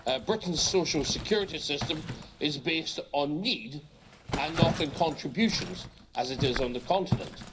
Britain's social security system is based on need, and not on contributions as it is on the continent.